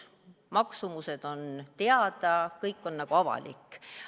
Maksumused on teada, kõik on avalik.